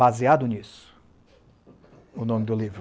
Baseado nisso, o nome do livro,